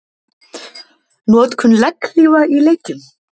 Notkun legghlífa í leikjum?